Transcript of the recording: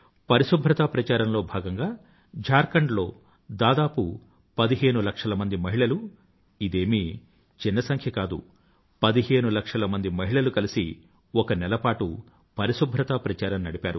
ప్రరిశుభ్రత ప్రచారంలో భాగంగా ఝార్ఖండ్ లో దాదాపు పదిహేను లక్షల మంది మహిళలు ఇదేమీ చిన్న సంఖ్య కాదు పదిహేను లక్షల మంది మహిళలు కలిసి ఒక నెలపాటు ప్రరిశుభ్రత ప్రచారం నడిపారు